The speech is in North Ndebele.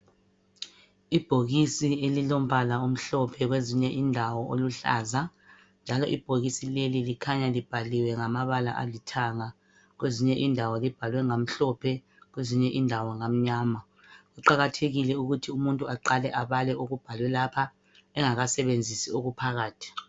Ibhokisi elilombala omhlophe kwezinye indawo oluhlaza, njalo ibhokisi leli likhanya libhaliwe ngamabala alithanga kwezinye indawo libhalwe ngamhlophe, kwezinye indawo ngamnyama. Kuqakathekile ukuthi umuntu aqale abale okubhalwe lapha engakasebenzisi okuphakathi.